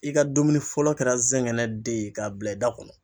I ka dumuni fɔlɔ kɛra zɛngɛnɛ den ye k'a bila i da kɔnɔ.